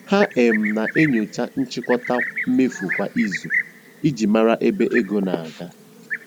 Ha um na-enyocha nchịkọta mmefu kwa izu iji mara ebe ego na-aga.